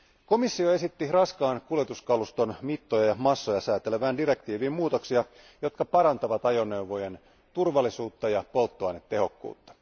Komissio esitti raskaan kuljetuskaluston mittoja ja massoja säätelevään direktiiviin muutoksia, jotka parantavat ajoneuvojen turvallisuutta ja polttoainetehokkuutta.